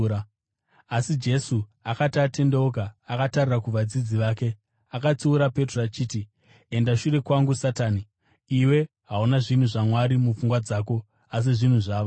Asi Jesu akati atendeuka akatarira kuvadzidzi vake, akatsiura Petro achiti, “Enda shure kwangu, Satani! Iwe hauna zvinhu zvaMwari mupfungwa dzako, asi zvinhu zvavanhu.”